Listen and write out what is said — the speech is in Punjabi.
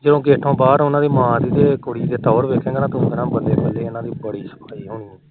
ਜਦੋ ਗੇਟੋ ਬਾਹਰ ਉਹਨਾ ਦੀ ਕੁੜੀ ਤੇ ਮਾ ਦੀ ਟੋਹਰ ਦੇਖੇ ਨਾ ਤੂੰ ਕਹਿਣਾ ਬੱਲੇ ਬੱਲੇ ਇਹਨਾ ਦੀ ਬੜੀ